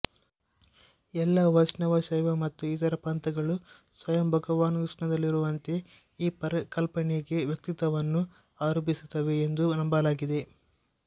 ಎಲ್ಲ ವೈಷ್ಣವ ಶೈವ ಮತ್ತು ಇತರ ಪಂಥಗಳು ಸ್ವಯಂ ಭಗವಾನ್ಕೃಷ್ಣನಲ್ಲಿರುವಂತೆ ಈ ಪರಿಕಲ್ಪನೆಗೆ ವ್ಯಕ್ತಿತನವನ್ನು ಆರೋಪಿಸುತ್ತವೆ ಎಂದು ನಂಬಲಾಗಿದೆ